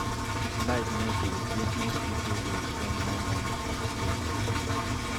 If light no dey, business pipo go spend more money on fuel.